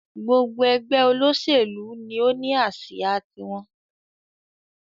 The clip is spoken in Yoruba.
Gbogbo ẹgbẹ́ olóṣèlú ni ó ní asia tí wọn